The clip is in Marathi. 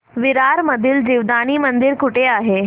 विरार मधील जीवदानी मंदिर कुठे आहे